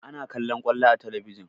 Ana kallaon ƙwallo a talabijin